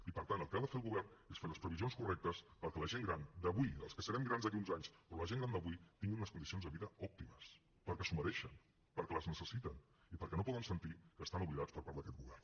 i per tant el que ha de fer el govern és fer les previsions correctes perquè la gent gran d’avui i els que serem grans d’aquí a uns anys però la gent gran d’avui tingui unes condicions de vida òptimes perquè s’ho mereixen perquè les necessiten i perquè no poden sentir que estan oblidats per part d’aquest govern